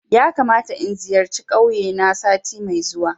Yakamata in zayarci kauye na sati mai zuwa